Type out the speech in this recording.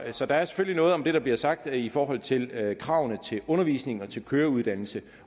så der er selvfølgelig noget om det der bliver sagt i forhold til kravene til undervisning og til køreuddannelse